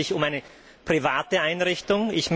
Es handelt sich um eine private Einrichtung.